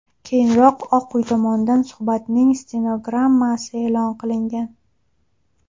Keyinroq Oq uy tomonidan suhbatning stenogrammasi e’lon qilingan.